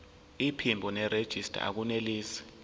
iphimbo nerejista akunelisi